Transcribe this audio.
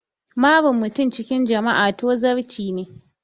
Marin mutum cikin jama'a tozarci ne